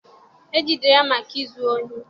e jidere ya maka izu ohi?